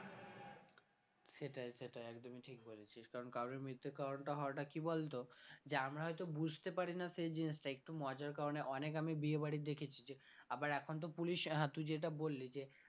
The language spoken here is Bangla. সেটাই সেটাই একদমই ঠিক বলেছিস কারণ কারোরই মৃত্যুর কারণটা হওয়াটা কি বলতো যে আমরা হয়তো বুঝতে পারি না সে জিনিসটা একটু মজার কারণে অনেক আমি বিয়ে বাড়ির দেখেছি যে আবার এখন তো police আহ তুই যেটা বললি যে